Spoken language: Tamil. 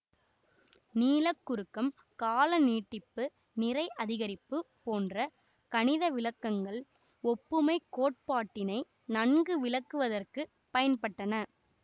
நீளக் குறுக்கம் கால நீட்டிப்பு நிறை அதிகரிப்பு போன்ற கணித விளக்கங்கள் ஒப்புமை கோட்பாட்டினை நன்கு விளக்குவதற்குப் பயன்பட்டன